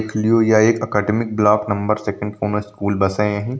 इक ल्यु आ एक academic block number school buses है।